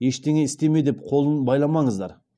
ештеңе істеме деп қолын байламаңыздар